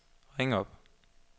ring op